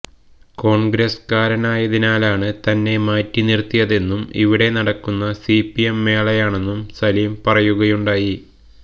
കോൺഗ്രസുകാരനായതിനാലാണ് തന്നെ മാറ്റിനിർത്തിയതെന്നും ഇവിടെ നടക്കുന്ന സിപിഎം മേളയാണെന്നും സലിം പറയുകയുണ്ടായി